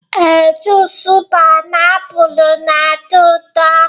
ee, junice painiapulu na-atọ ụtọ